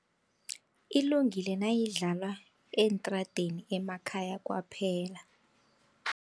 Ilungile nayidlalwa eentradeni emakhaya kwaphela.